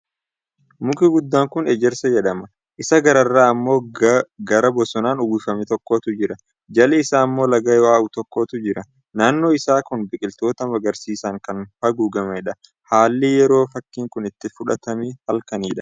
Muki guddaan kun Ejersa jedhama. Isaa gararraa ammoo gaara bosonaan uwwifame tokkotu jira. Jala isaa ammoo laga yaa'uu tokkotu jira. Naannoon isaa kun biqiloota magariisaan kan haguugamedha. Haalli yeroo fakkiin kun itti fudhatamee halkanidha.